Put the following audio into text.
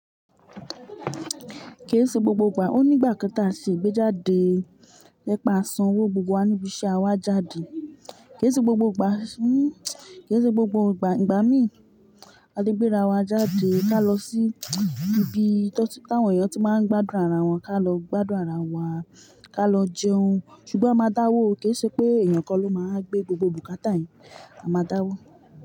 Kii ṣe gbogbo ìgbà, ó ní ìgbà kan ta ṣe gbé jádé, lẹ́pà á san owó gbogbo wa níbi ṣe á wa jáde. Kii ṣe gbogbo ìgbà, hmm, kii ṣe gbogbo ìgbà. Ìgbà mìí, a ti gbéra wa jáde ka lọ sí ibi tọ́sí tà wọ́n eeyan tí máa ń gbádùn ara wọn, ka lọ gbádùn ara wa, ka lọ jẹun. Sùgbọ́n a máa dáwó, kì í ṣe pé èèyàn kan ló máa gbé gbogbo bùkátà yẹn. A máa dáwó.